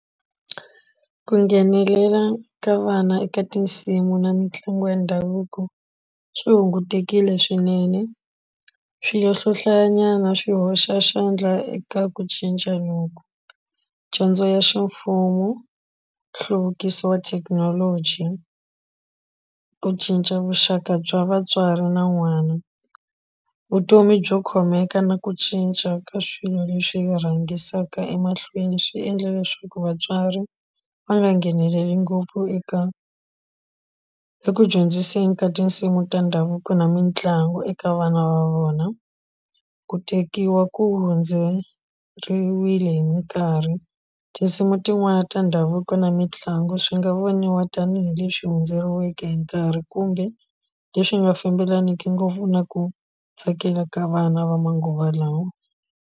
Ku nghenelela ka vana eka tinsimu na mitlangu ya ndhavuko swi hungutekile swinene hlayanyana swi hoxa xandla eka ku cinca loku dyondzo ya ximfumo nhluvukiso wa thekinoloji ku cinca vuxaka bya vatswari na n'wana vutomi byo khomeka na ku cinca ka swilo leswi hi rhangisiwaka emahlweni swi endle leswaku vatswari va nga ngheneleli ngopfu eka eku dyondziseni ka tinsimu ta ndhavuko na mitlangu eka vana va vona ku tekiwa ku hundzeriwile hi minkarhi tinsimu tin'wani ta ndhavuko na mitlangu swi nga voniwa tanihileswi hundzeriweke hi nkarhi kumbe leswi nga fambelaniku ngopfu na ku tsakela ka vana va manguva lawa.